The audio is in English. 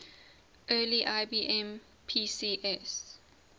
early ibm pcs